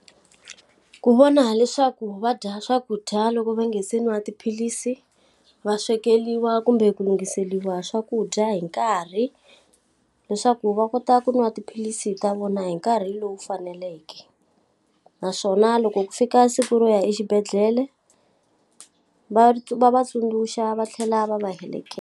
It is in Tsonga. Ku vona leswaku va dya swakudya loko va nge se nwa tiphilisi, va swekeriwa kumbe ku lunghiseriwa swakudya hi nkarhi, leswaku va ku ta a ku nwa tiphilisi ta vona hi nkarhi lowu faneleke. Naswona loko ku fika siku ro ya exibedhlele, va va va tsundzuxa va tlhela va va heleketa.